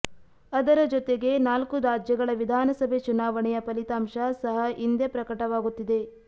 ಅದರ ಜೊತೆ ಜೊತೆಗೆ ನಾಲ್ಕು ರಾಜ್ಯಗಳ ವಿಧಾನಸಭೆ ಚುನಾವಣೆಯ ಫಲಿತಾಂಶ ಸಹ ಇಂದೇ ಪ್ರಕಟವಾಗುತ್ತಿದೆ